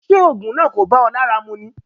Ṣé òògùn náà kò bá ọ lára mu ni?